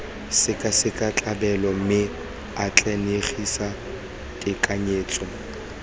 sekaseka ditlabelo mme atlenegise tekanyetso